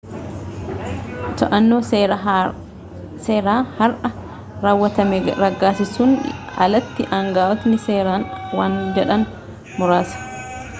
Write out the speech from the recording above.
to'annaa seeraa har'a raawwatame raggaasisuun alatti aangawootni seeraan waan jedhan muraasa